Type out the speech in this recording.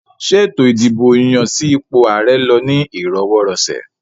Ṣé ètò ìdìbò yàn sí ipò ààrẹ lọ ní ìrọwọ́-rọṣẹ̀?